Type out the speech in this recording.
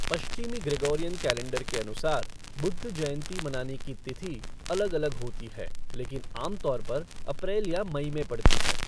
पश्चिमी Gregorian calendar के अनुसार बुद्ध जयंती मनाने की तिथि अलग अलग होती है, लेकिन आमतौर पर अप्रैल या मई में पड़ती है।